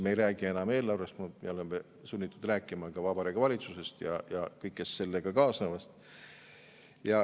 Me ei räägi enam eelarvest, me oleme sunnitud rääkima ka Vabariigi Valitsusest ja kõigest sellega kaasnevast.